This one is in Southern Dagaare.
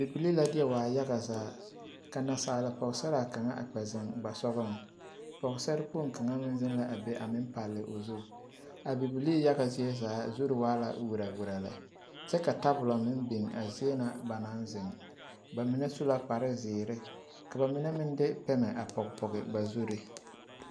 Bibilii la deɛ waa yaga zaa ka naasaal pɔgesaraa kaŋa kpɛ zeŋ a ba sogɔŋ pɔgesarre kpoŋ kaŋ meŋ zeŋ la a meŋ palli o zu abibilii yage zie zaa zuri waa la werɛwerɛ lɛ kyɛ ka tabolɔ meŋ biŋ a zie na ba naŋ zeŋ ba mine su la kparrezeere ka ba mine meŋ de pɛmɛ a pɔge pɔge ba zuri.